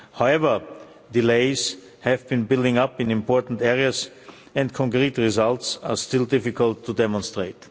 However, delays have been building up in important areas and concrete results are still difficult to demonstrate.